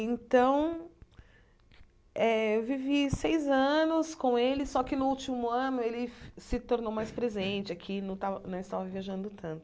Então, eh eu vivi seis anos com ele, só que no último ano ele se tornou mais presente aqui, não estava não estava viajando tanto.